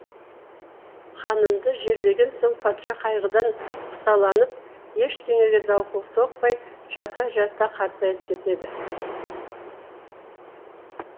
ханымды жерлеген соң патша қайғыдан құсаланып ештеңеге зауқы соқпай жата жата қартайып кетеді